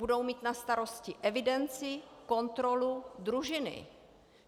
Budou mít na starosti evidenci, kontrolu, družiny.